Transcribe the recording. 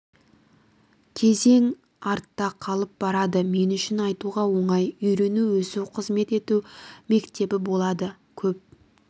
кезең артта қалып барады мен үшін айтуға оңай үйрену өсу қызмет ету мектебі болды көп